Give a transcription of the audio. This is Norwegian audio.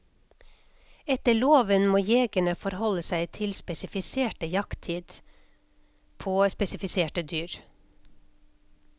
Etter loven må jegerne forholde seg til spesifisert jakttid på spesifiserte dyr.